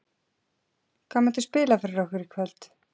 Hvað muntu spila fyrir okkur í kvöld?